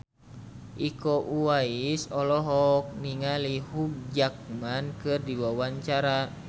Iko Uwais olohok ningali Hugh Jackman keur diwawancara